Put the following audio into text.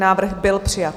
Návrh byl přijat.